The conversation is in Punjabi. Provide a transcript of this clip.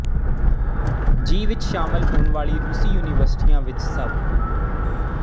ਜੀ ਵਿੱਚ ਸ਼ਾਮਲ ਹੋਣ ਵਾਲੀ ਰੂਸੀ ਯੂਨੀਵਰਸਿਟੀਆਂ ਵਿੱਚ ਸਭ